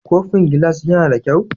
Kofin gilas yAna da kyau?